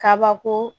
Kabako